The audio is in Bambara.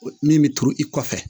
Min bɛ turu i kɔfɛ